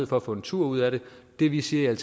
for at få en tur ud af det det vi siger i